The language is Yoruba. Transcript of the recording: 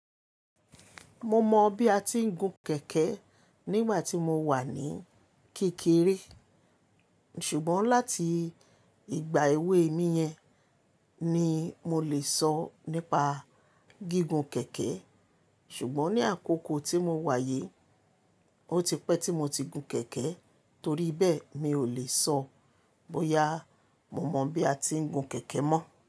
Mo mọ bí a ti ń gun kẹ̀kẹ́ nígbà tí mo wà ní kékeré. Ṣùgbọ́n láti ìgbà èwe mi yan ni mo lè sọ nípa gígùn kẹ̀kẹ́. Ṣùgbọ́n ní àkókò tí mo wáyé, ó ti pẹ́ tí mo ti gun kẹ̀kẹ́ torí bẹ́ẹ̀ mi ò lè sọ bóyá mo mọ bí a ti ń gun kẹ̀kẹ́ mọ́.